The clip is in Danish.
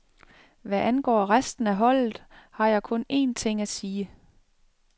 Hvad angår resten af holdet, har jeg kun en ting at sige.